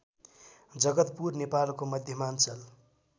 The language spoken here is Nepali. जगतपुर नेपालको मध्यमाञ्चल